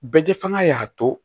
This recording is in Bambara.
Bɛɛ fanga y'a to